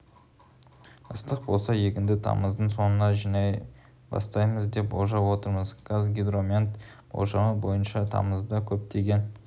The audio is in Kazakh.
ыстық болса егінді тамыздың соңында жинай бастаймыз деп болжап отырмыз қазгидромет болжамы бойынша тамызда көптеген